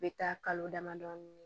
U bɛ taa kalo damadɔ